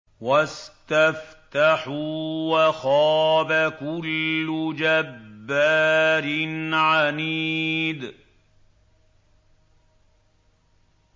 وَاسْتَفْتَحُوا وَخَابَ كُلُّ جَبَّارٍ عَنِيدٍ